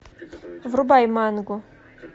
врубай мангу